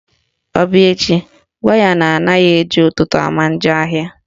Ọ bịa echi, gwa ya na anaghị eji ụtụtụ ama njọ ahịa